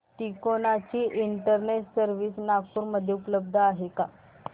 तिकोना ची internet service Nagpur मध्ये उपलब्ध आहे का